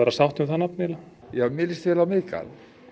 sátt um það nafn eiginlega já mér lýst vel á Miðgarð